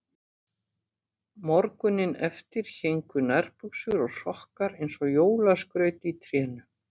Morguninn eftir héngu nærbuxur og sokkar eins og jólaskraut í trénu.